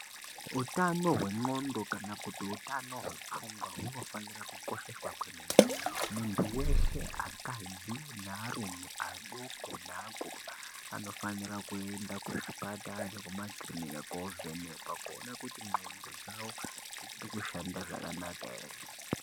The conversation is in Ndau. Utano hwendxondo kana kuti utano hwepfungwa hunofanira kukosheswa kwemene. Muntu weshe akadzi nearume adoko neakuru anofanirwe kuende kuzvipatara nekumakirinika kovhenekwa koona kuti ndxondo dzao dzichiri kushanda zvakanaka ere.